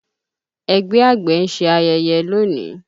Ẹgbẹ́ àgbẹ̀ ń ṣe ayẹyẹ lónìí